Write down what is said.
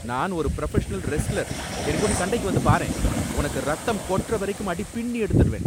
நான் ஒரு professional wrestler. என்கூட சண்டைக்கு வந்து பாரேன், உனக்கு ரத்தம் கொட்ற வரைக்கும் அடி பின்னி எடுத்துடுவேன்.